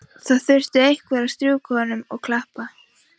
Það þurfti einhver að strjúka honum og klappa.